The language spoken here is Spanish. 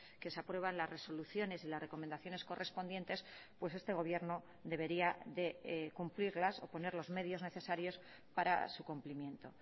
que se aprueban las resoluciones y las recomendaciones correspondientes pues este gobierno debería de cumplirlas o poner los medios necesarios para su cumplimiento